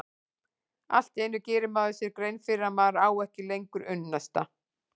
Allt í einu gerir maður sér grein fyrir að maður á ekki lengur unnusta.